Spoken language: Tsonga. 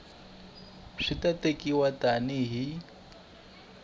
swi ta tekiwa tani hi